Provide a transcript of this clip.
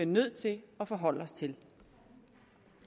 nødt til at forholde os til